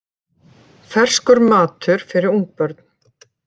Ferskur matur fyrir ungbörn